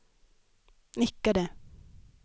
nickade